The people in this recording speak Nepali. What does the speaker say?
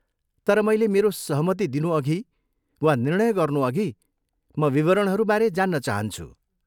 तर मैले मेरो सहमति दिनुअघि वा निर्णय गर्नुअघि, म विवरणहरू बारे जान्न चाहन्छु।